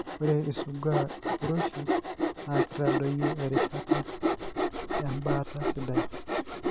ore isugaa impuroishi na kitadoyio erishata ebaata sidai.